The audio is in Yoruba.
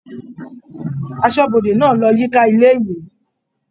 Aṣọ́bodè náà lọ yíká ilé-ìwé.